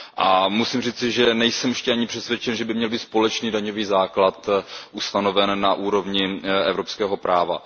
A musím říci, že nejsem ještě ani přesvědčen, že by měl být společný daňový základ ustanoven na úrovni evropského práva.